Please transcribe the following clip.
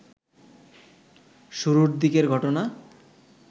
শুরুর দিকের ঘটনা